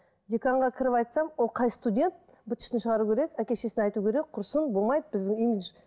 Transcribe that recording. деканға кіріп айтсам ол қай студент быт шытын шығару керек әке шешесіне айту керек құрсын болмайды біздің имидж